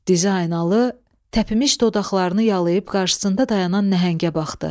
Dizaynalı təpimiş dodaqlarını yalıyıb qarşısında dayanan nəhəngə baxdı.